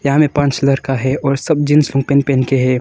यहां में पांच लड़का है और सब जींस और पेंट पहन के है।